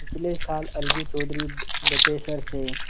पिछले साल अलगू चौधरी बटेसर से